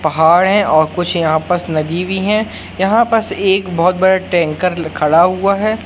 पहाड़ है और कुछ यहां पास नदी भी हैं यहां पास एक बहोत बड़ा टैंकर खड़ा हुआ है।